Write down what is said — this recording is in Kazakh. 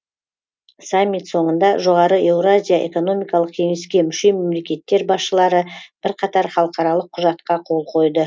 саммит соңында жоғары еуразия экономикалық кеңеске мүше мемлекеттер басшылары бірқатар халықаралық құжатқа қол қойды